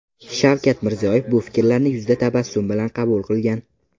Shavkat Mirziyoyev bu fikrlarni yuzda tabassum bilan qabul qilgan.